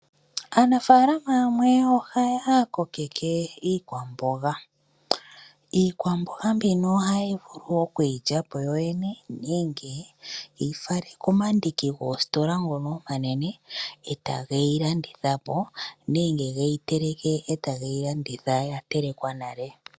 Aanafalama ohaya kokeke iikwamboga, iikwamboga mbino ohaya vulu okwii lyapo yoyene nenge ohaya vulu okuyi fala komandingi goo sitola ngono omanene etage yi landithapo nenge ge yi teleke eta geyi landitha ya telekwa nale.